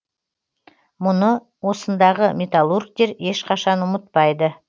мұны осындағы металлургтер ешқашан ұмытпайды